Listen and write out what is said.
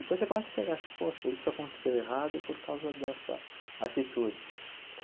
Depois você começa a enxergar assim, poxa, isso aconteceu errado por causa dessa atitude.